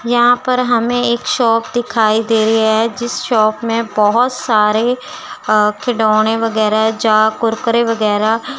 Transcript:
यहां पर हमें एक शॉप दिखाई दे रही है जिस शॉप में बहोत सारे अ खिलौने वगैरा जहां कुरकुरे वगैरा--